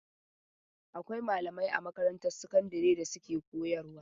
Akwai malamai a makarantar sakandare da suke koyarwa.